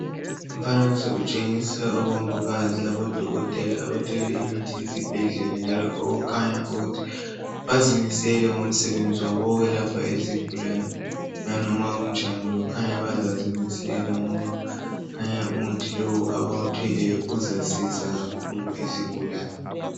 Umfanekiso utshengisa omongikazi labodokotela abathwele imithi yesibhedlela njalo okukhanya ukuthi bazimisele ngomsebenzi wabo okwelapha izigulane nanoma kunjani kukhanya bazazimisela ngoba kukhanya umuthi lowu abawuthweleyo uzasiza kakhulu izigulane.